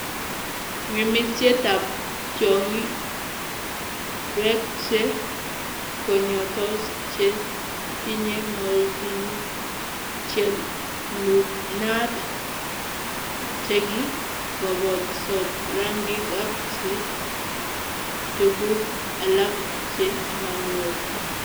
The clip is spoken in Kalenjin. ng'emisyetab tyong'ig, peek che kong'etos, che tinye moldinik, che n'uunaat, che ki kobetsot rangik ak che tuguuk alak che manyolu.